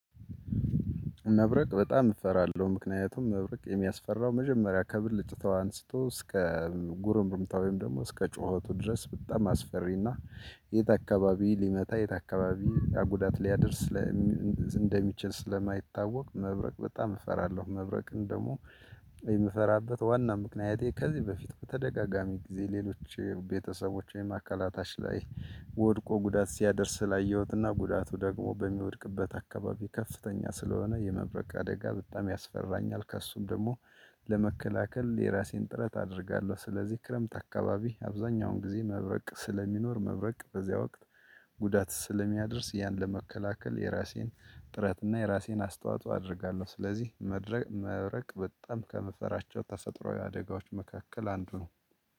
መብረቅ በጣም እፈራለሁ፤ ምክንያቱም መብረቅ የሚያስፈራው መጀመሪያ ከብልጭታው አንስቶ እስከ ጉርምርምታ ወይም ደግሞ እስከ ጩኸቱ ድረስ በጣም አስፈሪና የት አካባቢ ሊመታ የት አካባቢ ጉዳት ሊያደርስ እንደሚችል ስለማይታወቅ መብረቅ በጣም እፈራለሁ። መብረቅን ደግሞ የምፈራበት ዋና ምክንያቴ ከዚህ በፊት በተደጋጋሚ ጊዜ ሌሎች ቤተሰቦቼን አካላታቸው ላይ ወድቆ ጉዳት ሲያደርስ ላየሁትና ጉዳቱ ደግሞ በሚወድቅበት አካባቢ ከፍተኛ ስለሆነ የመብረቅ አደጋ በጣም ያስፈራኛል። ከእሱም ደግሞ ለመከላከል የራሴን ጥረት አደርጋለሁ። ስለዚህ ክረምት አካባቢ አብዛኛውን ጊዜ መብረቅ ስለሚኖር መብረቅ በዚያ ወቅት ጉዳት ስለሚያደርስ ያን ለመከላከል የራሴን ጥረት እና የራሴን አስተዋጽኦ አደርጋለሁ። ስለዚህ መድረቅ መብረቅ በጣም ከምፈራቸው ተፈጥሮአዊ አደጋዎች መካከል አንዱ ነው።